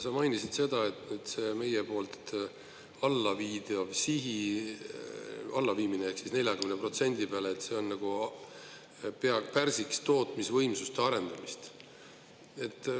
Sa mainisid seda, et see meie poolt allaviimine ehk 40% peale nagu pärsiks tootmisvõimsuste arendamist.